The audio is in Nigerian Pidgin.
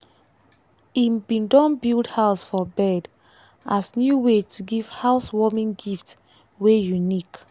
e bin don build house for bird as new way to give housewarming gift wey unique.